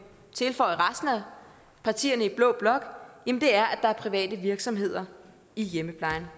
tilføje for resten af partierne i blå blok er at der er private virksomheder i hjemmeplejen